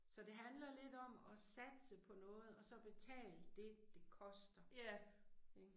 Så det handler lidt om at satse på noget og så betale det det koster. Ik